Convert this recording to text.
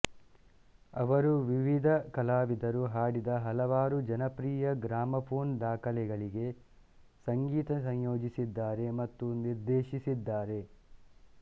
ಅವರು ವಿವಿಧ ಕಲಾವಿದರು ಹಾಡಿದ ಹಲವಾರು ಜನಪ್ರಿಯ ಗ್ರಾಮಫೋನ್ ದಾಖಲೆಗಳಿಗೆ ಸಂಗೀತ ಸಂಯೋಜಿಸಿದ್ದಾರೆ ಮತ್ತು ನಿರ್ದೇಶಿಸಿದ್ದಾರೆ